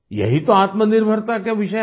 यही तो आत्मनिर्भरता का विषय है